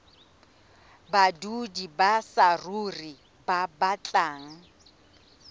badudi ba saruri ba batlang